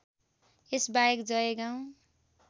यस बाहेक जयगाउँ